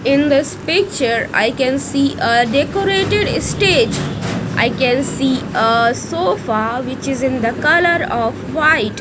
in this picture i can see a decorated stage i can see ah sofa which is in the colour of white.